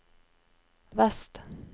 vest